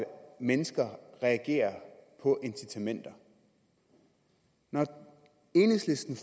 mennesker reagerer på incitamenter når enhedslisten